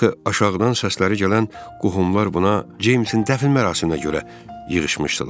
Axı aşağıdan səsləri gələn qohumlar buna Ceymsin dəfn mərasiminə görə yığışmışdılar.